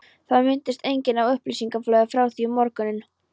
Það minntist enginn á upplýsingaflóðið frá því um morguninn.